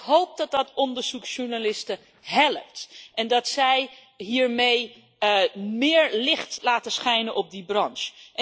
Ik hoop dat dat onderzoeksjournalisten helpt en dat zij hiermee meer licht laten schijnen op die branche.